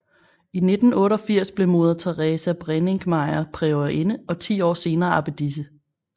I 1988 blev Moder Theresa Brenninkmeijer priorinde og ti år senere abbedisse